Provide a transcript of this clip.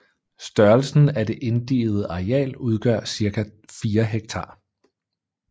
Størrelsen af det inddigede areal udgør cirka fire hektar